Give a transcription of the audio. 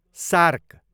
shark